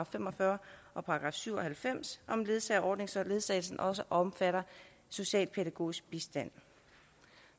fem og fyrre og § syv og halvfems om ledsageordning så ledsagelsen også omfatter socialpædagogisk bistand